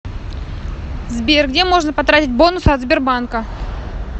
сбер где можно потратить бонусы от сбербанка